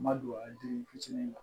N ma don a den fitinin na